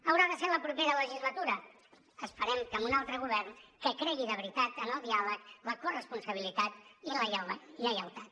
haurà de ser a la propera legislatura esperem que amb un altre govern que cregui de veritat en el diàleg la corresponsabilitat i la lleialtat